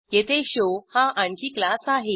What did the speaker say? येथे शो हा आणखी क्लास आहे